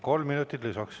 Kolm minutit lisaks.